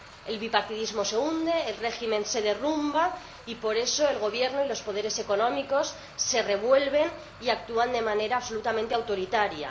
El bipartidismo se hunde, el régimen se derrumba y por eso el Gobierno y los poderes económicos se revuelven y actúan de manera absolutamente autoritaria.